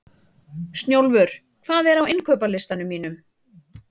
Snjólfur, hvað er á innkaupalistanum mínum?